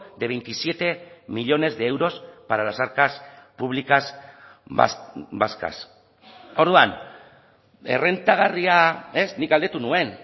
de veintisiete millónes de euros para las arcas públicas vascas orduan errentagarria nik galdetu nuen